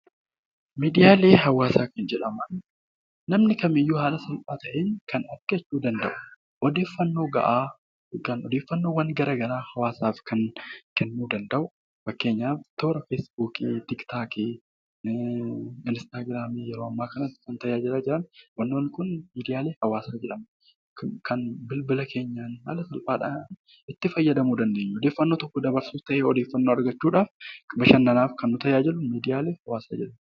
Miidiyaalee hawaasaa kan jedhaman, namni kamiyyuu ta'ee odeeffannoo gahaa, kan odeeffannoo garaagaraa kan hawaasaaf kennuu danda'u, fakkeenyaaf toora feesbuukii, tiktookii , instaagiraamii yeroo ammaa kana tajaajilaa jiran kan bilbila keenyaan itti fayyadamuu dandeenyu, odeeffannoo harkaa qabnu ta'ee, argachuuf bashannanaaf kan nu tajaajilu miidiyaalee hawaasaa jedhamu.